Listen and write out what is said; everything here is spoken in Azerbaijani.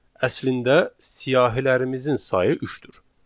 Əslində siyahilərimizin sayı üçdür.